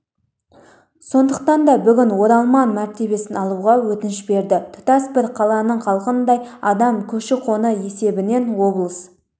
сондықтан да бүгін оралман мәртебесін алуға өтініш берді тұтас бір қаланың халқындай адам көші-қон есебінен облыс